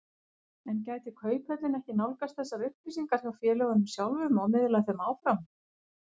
En gæti Kauphöllin ekki nálgast þessar upplýsingar hjá félögunum sjálfum og miðlað þeim áfram?